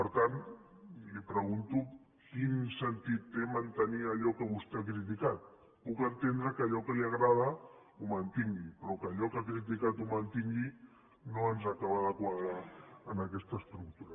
per tant li pregunto quin sentit té mantenir allò que vostè ha criticat puc entendre que allò que li agrada ho mantingui però que allò que ha criticat ho mantingui no ens acaba de quadrar en aquesta estructura